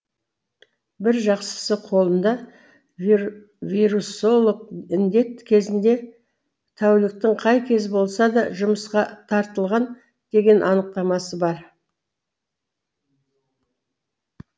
бір жақсысы қолында вирусолог індет кезінде тәуліктің қай кезі болса да жұмысқа тартылған деген анықтамасы бар